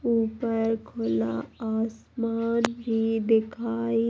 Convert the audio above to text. यहाँ एक अकेला दिखा रहा है। फॅमिली सुंदर देख फॅर खोला देखा। यहाँ पर।